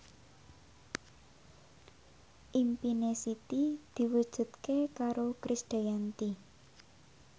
impine Siti diwujudke karo Krisdayanti